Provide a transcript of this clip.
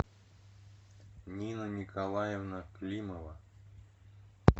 нина николаевна климова